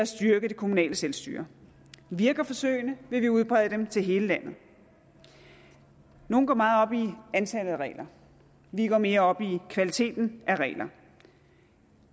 styrke det kommunale selvstyre virker forsøgene vil vi udbrede dem til hele landet nogle går meget op i antallet af regler vi går mere op i kvaliteten af regler